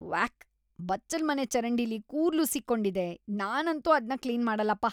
ವ್ಯಾಕ್! ಬಚ್ಚಲ್ಮನೆ ಚರಂಡಿಲಿ ಕೂದ್ಲು ಸಿಕ್ಕೊಂಡಿದೆ. ನಾನಂತೂ ಅದ್ನ ಕ್ಲೀನ್‌ ಮಾಡಲ್ಲಪ್ಪ.